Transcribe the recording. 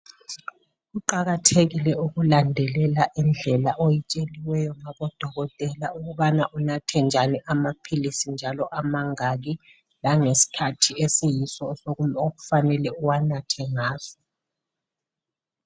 Kuqakathekile ukulandelela indlela oyitsheliweyo ngabo dokotela, ukubana unathe njani amaphilisi njalo amangaki, langeskhathi esiyiso okufanele uwanathe ngaso.